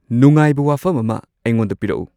ꯅꯨꯉꯥꯏꯕ ꯋꯥꯐꯝ ꯑꯃ ꯑꯩꯉꯣꯟꯗ ꯄꯤꯔꯛꯎ